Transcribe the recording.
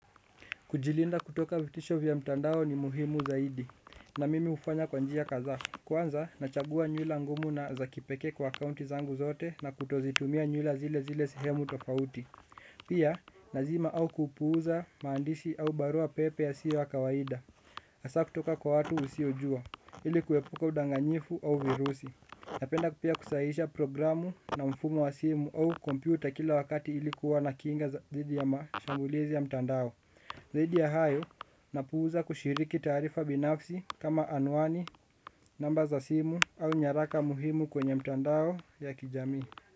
Kujilinda kutoka vitisho vya mtandao ni muhimu zaidi, na mimi hufanya kwa njia kadhaa. Kwanza, nachagua nyula ngumu na za kipekee kwa kaunti zangu zote na kutozitumia nyula zile zile sehemu tofauti. Pia, nazima au kupuuza, maandishi au barua pepe yasio ya kawaida. Asaa kutoka kwa watu usiojua, ili kuepuka udanganyifu au virusi. Napenda pia kusahihisha programu na mfumo wa simu au kompyuta kila wakati ilikuwa na kinga thidi ya mashambulizi ya mtandao. Zaidi ya hayo, napuuza kushiriki taarifa binafsi kama anwani, namba za simu au nyaraka muhimu kwenye mtandao ya kijamii.